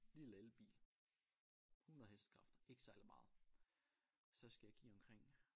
Lille elbil 100 hestekræfter ikke særlig meget så skal jeg give omkring